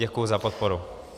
Děkuji za podporu.